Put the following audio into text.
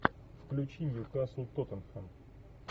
включи ньюкасл тоттенхэм